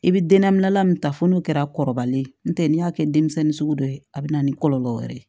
I bɛ dennabila min ta fɔ n'o kɛra kɔrɔbalen no tɛ n'i y'a kɛ denmisɛnnin sugu dɔ ye a bɛ na ni kɔlɔlɔ wɛrɛ ye